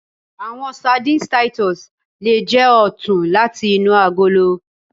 Awọn sardines titus le jẹ ọtun lati inu agolo